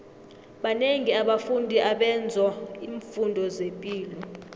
banengi abafundi abenzo imfundo zepilo